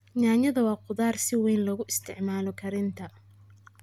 Yaanyadu waa khudrad si weyn loogu isticmaalo karinta.